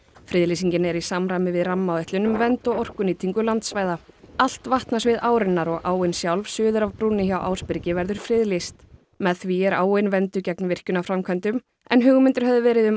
friðlýsingin er í samræmi við rammaáætlun um vernd og orkunýtingu landsvæða allt vatnasvið árinnar og áin sjálf suður af brúnni hjá Ásbyrgi verður friðlýst með því er áin vernduð gegn virkjunarframkvæmdum en hugmyndir höfðu verið um